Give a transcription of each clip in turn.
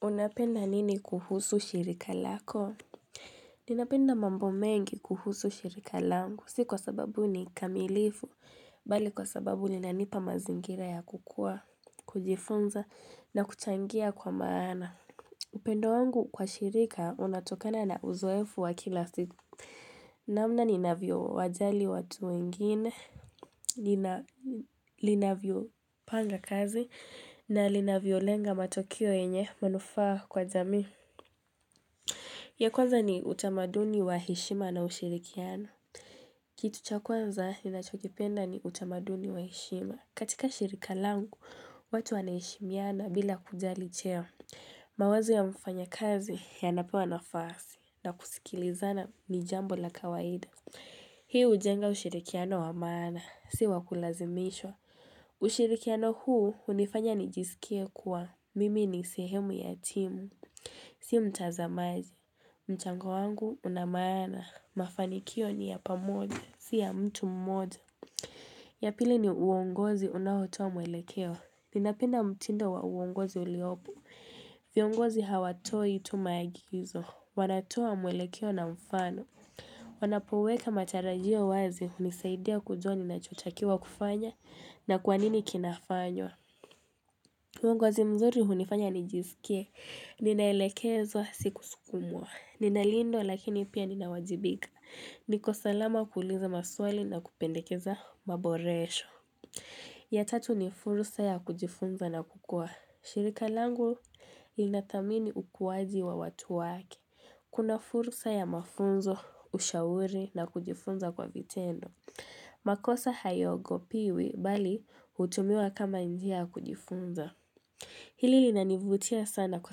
Unapenda nini kuhusu shirika lako? Ninapenda mambo mengi kuhusu shirika langu. Si kwa sababu ni kamilifu. Bali kwa sababu linanipa mazingira ya kukua, kujifunza na kuchangia kwa maana. Upendo wangu kwa shirika, unatokana na uzoefu wa kila siku. Namna ninavyowajali watu wengine. Linavyopanga kazi. Na linavyo lenga matokeo yenye manufaa kwa jamii. Ya kwanza ni utamaduni wa heshima na ushirikiano. Kitu cha kwanza ninachokipenda ni utamaduni wa heshima. Katika shirika langu, watu wanaheshimiana bila kujali cheo. Mawazo ya mfanyakazi yanapewa nafasi na kusikilizana ni jambo la kawaida. Hii hujenga ushirikiano wa maana, si wa kulazimishwa. Ushirikiano huu hunifanya nijisikie kuwa, mimi ni sehemu ya timu, si mtazamaji. Mchango wangu una maana, mafanikio ni ya pamoja, si ya mtu mmoja. Ya pili ni uongozi unaotoa mwelekeo. Ninapenda mtindo wa uongozi uliopo. Viongozi hawatoi tu maagizo, wanatoa mwelekeo na mfano. Wanapoweka matarajio wazi hunisaidia kujua ninachotakiwa kufanya na kwa nini kinafanywa uongozi mzuri unifanya nijisikie, ninaelekezwa si kusukumwa Ninalindwa lakini pia ninawajibika, niko salama kuuliza maswali na kupendekeza maboresho ya tatu ni furusa ya kujifunza na kukua shirika langu linadhamini ukuwaji wa watu wake Kuna fursa ya mafunzo, ushauri na kujifunza kwa vitendo. Makosa hayogopiwi bali hutumiwa kama njia ya kujifunza. Hili linanivutia sana kwa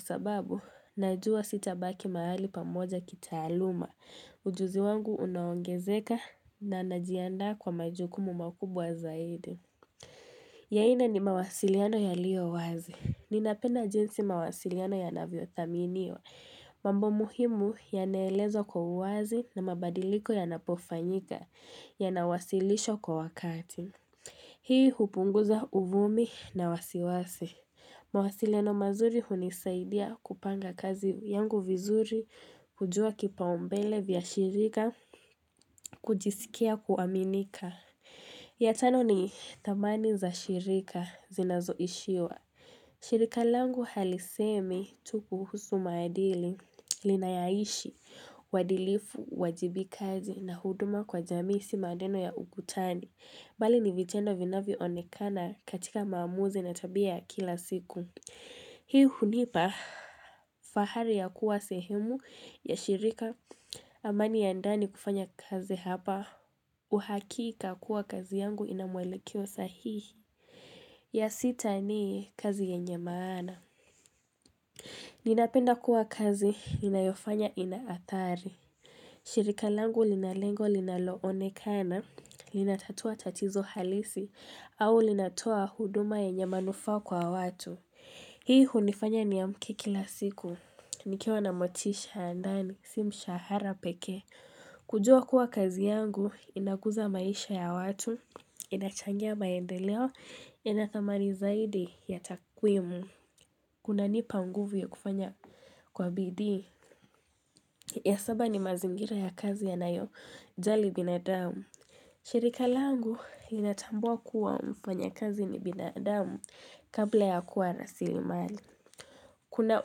sababu najua sitabaki mahali pamoja kitaaluma. Ujuzi wangu unaongezeka na najiandaa kwa majukumu makubwa zaidi. Ya nne ni mawasiliano yaliyo wazi. Ninapenda jinsi mawasiliano yanavyothaminiwa. Mambo muhimu yanaelezwa kwa uwazi na mabadiliko yanapofanyika yanawasilishwa kwa wakati. Hii hupunguza uvumi na wasiwasi. Mawasiliano mazuri hunisaidia kupanga kazi yangu vizuri kujua kipaumbele vya shirika kujisikia kuaminika. Ya tano ni dhamani za shirika zinazoishiwa. Shirika langu halisemi tuu kuhusu maadili linayaishi, uadilifu, uajibikazi na huduma kwa jamii si maneno ya ugutani. Bali ni vitendo vinavyo onekana katika maamuzi na tabia ya kila siku. Hii hunipa fahari ya kuwa sehemu ya shirika amani ya ndani kufanya kazi hapa. Uhakika kuwa kazi yangu ina mwelekeo sahihi. Ya sita ni kazi yenye maana. Ninapenda kuwa kazi inayofanya inaadhari. Shirika langu lina lengo linaloonekana, linatatua tatizo halisi, au linatoa huduma yenye manufaa kwa watu. Hii hunifanya niamke kila siku. Nikiwa na motisha ya ndani, si mshahara peke. Kujua kuwa kazi yangu, inakuza maisha ya watu, inachangia maendeleo, inathamani zaidi ya takwimu kunanipa mguvu ya kufanya kwa bidii ya saba ni mazingira ya kazi yanayojali binadamu shirika langu inatambua kuwa mfanyakazi ni binadamu kabla ya kuwa rasilimali Kuna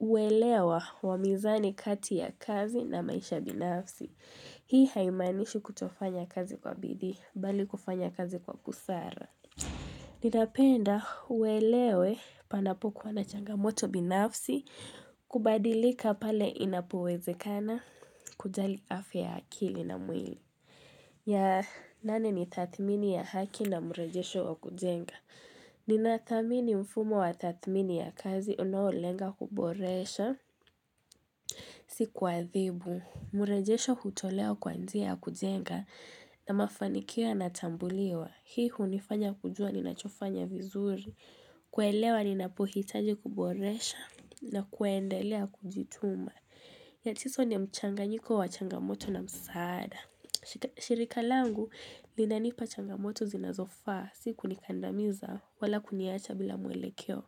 uelewa wa mizani kati ya kazi na maisha binafsi Hii haimanishi kutofanya kazi kwa bidii bali kufanya kazi kwa busara Ninapenda uwelewe panapokuwa na changamoto binafsi kubadilika pale inapowezekana kujali afya akili na mwili ya nane ni tadhmini ya haki na mrejesho wa kujenga Nina thamini mfumo wa tatmini ya kazi unolenga kuboresha Si kuadhibu, mrejesho hutolewa kwa njia ya kujenga na mafanikio yanatambuliwa Hii hunifanya kujua ni nachofanya vizuri kuelewa ninapohitaji kuboresha na kuendelea kujituma. Ya tisa ni mchanganyiko wa changamoto na msaada. Shirika langu linanipa changamoto zinazofaa si kunikandamiza wala kuniacha bila mwelekeo.